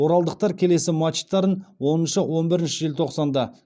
оралдықтар келесі матчтарын оныншы он бірінші желтоқсанда